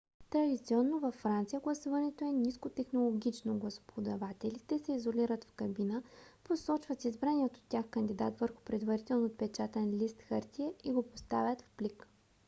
традиционно във франция гласуването е нискотехнологично: гласоподавателите се изолират в кабина посочват избрания от тях кандидат върху предварително отпечатан лист хартия и го поставят в плик